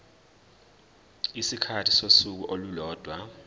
isikhathi sosuku olulodwa